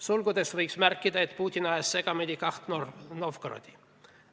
Sulgudes võiks märkida, et Putin ajas segamini kaks Novgorodi.